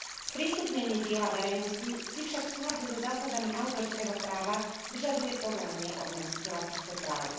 Sprístupnenie diela verejnosti si však v súlade so zásadami autorského práva vyžaduje povolenie od nositeľa týchto práv.